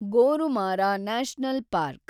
Gorumara national park